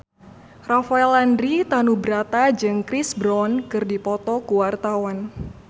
Rafael Landry Tanubrata jeung Chris Brown keur dipoto ku wartawan